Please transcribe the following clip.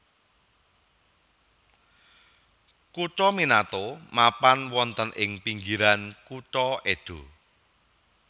Kutha Minato mapan wonten ing pinggiran kutha Edo